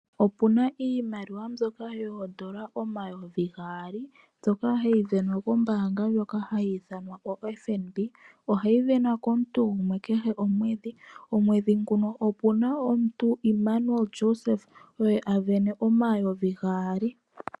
Opu na iimaliwa mbyoka yoodola omayovi gaali, mbyoka hayi sindanwa kombaanga ndjoka hayi ithanwa FNB. Ohayi sindanwa komuntu gumwe kehe omwedhi. Omwedhi nguno opu na omuntu Immanuel Joseph, oye a sindana omayovi gaali.